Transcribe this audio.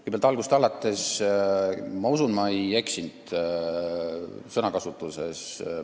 Kõigepealt alustuseks: ma usun, et ma ei eksinud sõnakasutuses.